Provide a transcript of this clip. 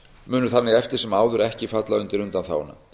munu þannig eftir sem áður ekki falla undir undanþáguna